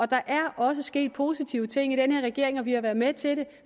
der er også sket positive ting i den her regering og vi har været med til